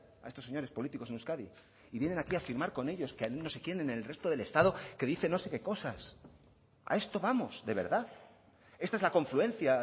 a estos señores políticos en euskadi y vienen aquí a firmar con ellos que no se quién en el resto del estado que dice no sé qué cosas a esto vamos de verdad esta es la confluencia